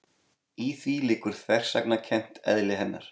Í því liggur þversagnarkennt eðli hennar.